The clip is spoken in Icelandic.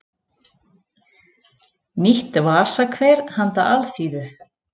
Nýtt vasakver handa alþýðu.